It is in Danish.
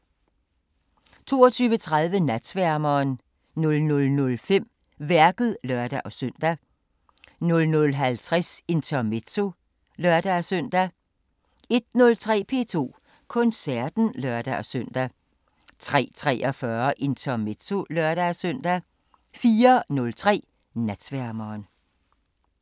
22:30: Natsværmeren 00:05: Værket (lør-søn) 00:50: Intermezzo (lør-søn) 01:03: P2 Koncerten (lør-søn) 03:43: Intermezzo (lør-søn) 04:03: Natsværmeren